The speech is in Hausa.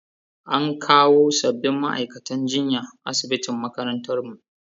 An kawo sabbin ma'aikatan jinya asibitin makarantar mu